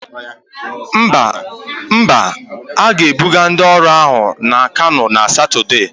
Mba, a ga-ebuga ndị ọrụ ahụ na Kano na Satọde.